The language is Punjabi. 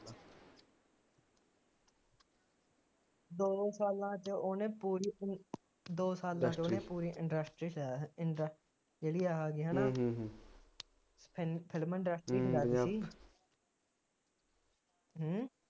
ਦੋ ਸਾਲਾਂ ਚ ਉਹਨੇ ਪੂਰੀ ਫਿਲਮ ਦੋ ਸਾਲਾਂ ਚ ਉਹਨੇ ਪੂਰੀ ਇੰਡਸਟਰੀ ਜਿਹੜੀ ਆਹ ਕਿ ਹੈ ਨਾ ਫਿਲਮ ਇੰਡਸਟਰੀ ਹਿਲਾ ਦਿੱਤੀ ਹੂੰ